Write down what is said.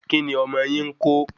Kí ni ọmọ yìí ńko?